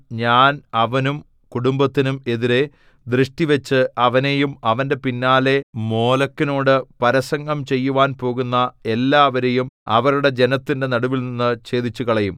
ഞാൻ അവനും കുടുംബത്തിനും എതിരെ ദൃഷ്ടിവച്ച് അവനെയും അവന്റെ പിന്നാലെ മോലെക്കിനോടു പരസംഗം ചെയ്യുവാൻ പോകുന്ന എല്ലാവരെയും അവരുടെ ജനത്തിന്റെ നടുവിൽനിന്നു ഛേദിച്ചുകളയും